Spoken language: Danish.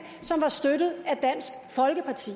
som var støttet af dansk folkeparti